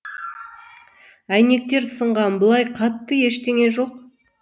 әйнектер сынған былай қатты ештеңе жоқ